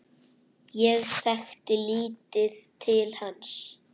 Ég þekkti lítið til hans.